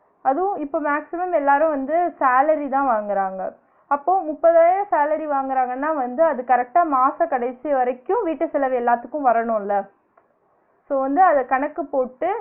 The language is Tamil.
அதுவும் இப்ப maximum எல்லாரும் வந்து salary தான் வாங்குறாங்க, அப்ப முப்பதாயிரம் salary வாங்குறாங்கன்னா வந்து அது correct ஆ மாச கடைசி வரைக்கு வீட்டு செலவு எல்லாத்துக்கு வரனும்ல so வந்து அத கணக்கு போட்டு